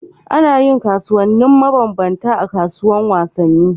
Anayin wasanni maban banta a kasuwar wasan ni